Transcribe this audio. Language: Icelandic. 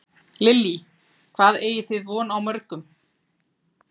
Lillý: Hvað eigið þið von á mörgum?